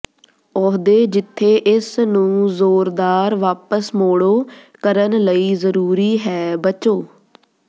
ਅਹੁਦੇ ਜਿੱਥੇ ਇਸ ਨੂੰ ਜ਼ੋਰਦਾਰ ਵਾਪਸ ਮੋੜੋ ਕਰਨ ਲਈ ਜ਼ਰੂਰੀ ਹੈ ਬਚੋ